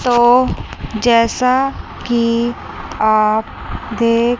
तो जैसा कि आप देख--